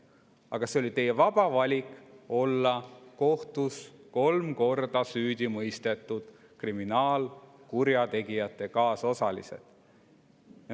Aga see oli teie vaba valik olla kohtus kolm korda süüdi mõistetud kriminaalkurjategijate kaasosalised.